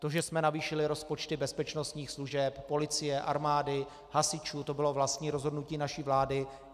To, že jsme navýšili rozpočty bezpečnostních služeb, policie, armády, hasičů, to bylo vlastní rozhodnutí naší vlády.